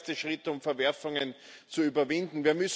das ist der erste Schritt, um Verwerfungen zu überwinden.